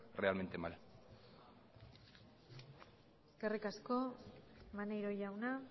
realmente mal gracias eskerrik asko maneiro jauna